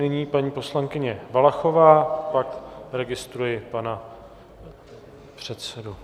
Nyní paní poslankyně Valachová, pak registruji pana předsedu.